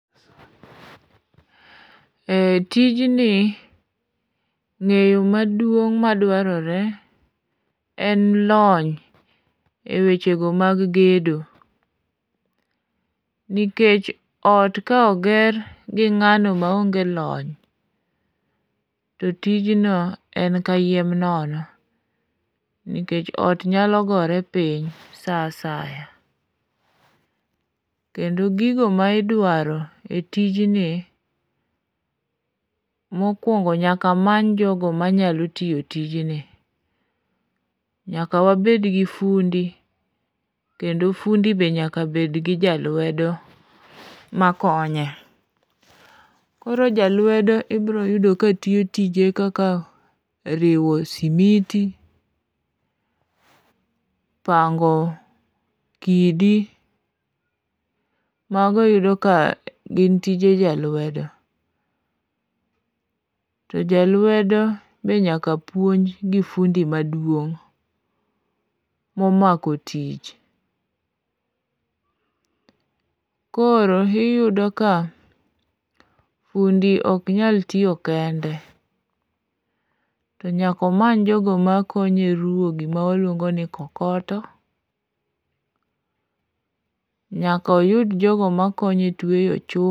E tijni ng'eyo maduong' madwarore en lony e wechego mag gedo, nikech ot ka oger gi ng'ano maonge lony to tijno en ka yiem nono nikech ot nyalo gore piny sa asaya, kendo gigo ma idwaro e tijni mokwongo nyaka many jogo manyalo tiyo tijni, nyaka wabedgi fundi kendo fundi be nyaka bedgi jalwedo makonye. Koro jalwedo ibroyudo ka tiyo tije kaka riwo simiti, pango kidi, mago iyudo ka gin tije jalwedo. To jalwedo be nyaka puonj gi fundi maduong' momako tich. Koro iyudo ka fundi oknyal tiyo kende to nyakomany jogo makonye ruwo gima waluongo ni kokoto, nyakoyud jogo makonye tweyo chumbe..